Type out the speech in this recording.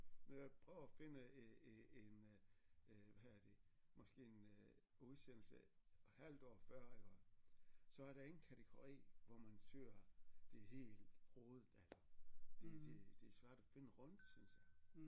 Når jeg prøver at finde en en en øh hvad hedder det måske en øh udsendelse et halvt år før iggå så er der ingen kategori hvor man søger det hele troede det det det er svært at finde rundt synes jeg